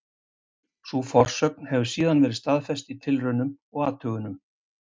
Sú forsögn hefur síðan verið staðfest í tilraunum og athugunum.